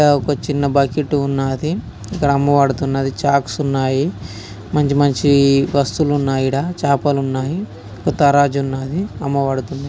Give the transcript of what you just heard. ఇక్కడ ఒక చిన్న బకెట్ ఉన్నదీ ఇక్కడ అమ్మబడుతున్నది షార్క్స్ ఉన్నాయి మంచి మంచి వస్తువులున్నాయి ఈడ చేపలున్నాయి తరాజ్ ఉన్నదీ అమ్మబడుతున్నాయి ]